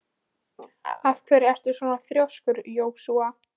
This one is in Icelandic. Af hverju ertu svona þrjóskur, Jósúa?